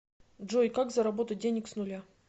джой как заработать денег с нуля